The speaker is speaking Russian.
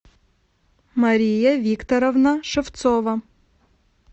мария викторовна шевцова